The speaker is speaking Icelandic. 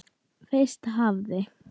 Fyrst hafði